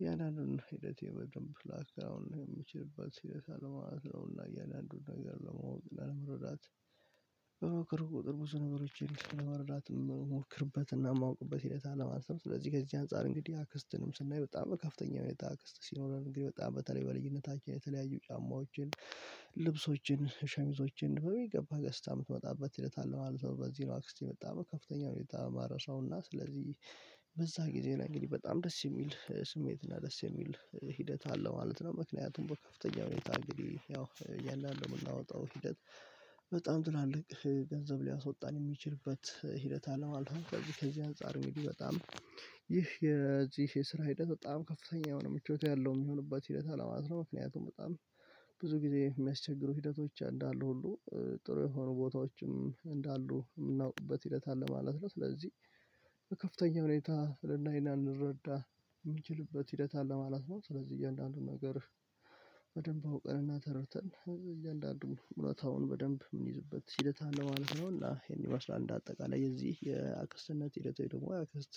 እያንዳንዱን ሂደቴ በደንብ ላክተህ የምችልበት ሂደት አለ ማለት ነው። እና እያለ አንዱን ነገር ለመውጣት ለመረዳት በምክሩ ቁጥር ብዙ ነገሮችን ስንመርራትም ሞክርበትና ማውቅበት ሂደት አለ ማለት ነው። ስለዚህ ከዚህ አንፃር እንግዲህ አክስትንም ስናይ በጣም ከፍተኛ ሁኔታ አክስት ሲኖረን እንግዲህ በጣም በተለይ በልጅነታችን የተለያዩ ጫማዎችን ልብሶችን ሸሚዞችን በሚገባ ገዝታ የምትመጣበት ሂደት አለ በዚህ ነው አክስቴ የመጣው ከፍተኛ ሁኔታ ማረሳውና ስለዚህ በዛ ጊዜ እና እንግዲህ በጣም ደስ የሚል ስሜት እና ደስ የሚል ሂደት አለ ማለት ነው። ምክንያቱም በከፍተኛ ሁኔታ እንግዲህ ያው ያንን ደግሞ የምናወጣው ሂደት በጣም ትላልቅ ገንዘብ ሊያስወጣን የሚችልበት ሂደት አለ ማለት ነው። ከዚህ ከዚህ አንፃር እንግዲህ በጣም ይህ የዚህ የስራ ሂደት በጣም ከፍተኛ የሆነ ምቾት ያለው የሚሆንበት ሂደት አለ ማለት ነው። ምክንያቱም በጣም ብዙ ጊዜ የሚያስቸግሩ ሂደቶች እንዳሉ ሁሉ ጥሩ የሆኑ ቦታዎችም እንዳሉ የምናውቅበት ሂደት አለ ማለት ነው። ስለዚህ ከፍተኛ ሁኔታ ልናይ እና ልንረዳ የምንችልበት ሂደት አለ ማለት ነው። ስለዚህ እያንዳንዱን ነገር በደንብ አውቀን እና ተርድተን እያንዳንዱን እውነታውን በደንብ የምንይዝበት ሂደት አለ ማለት ነው። እና ይሄን ይመስላል እንደ አጠቃላይ የዚህ የአክስትነት ሂደት ወይ ደግሞ አክስት